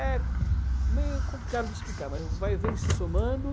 É meio complicado de explicar, mas vai vem se somando...